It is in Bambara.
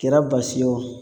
Kɛra basi ye o